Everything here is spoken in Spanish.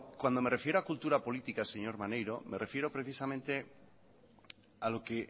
cuando me refiero a cultura política señor maneiro me refiero precisamente a lo que